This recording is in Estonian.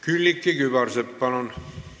Külliki Kübarsepp, palun!